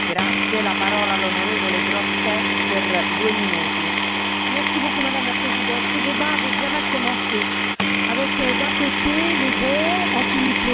Madame la Présidente, ce débat avait bien mal commencé avec, d'un côté, les bons, anti nucléaires, et, de l'autre, les mauvais, ceux qui soutiennent encore l'énergie nucléaire.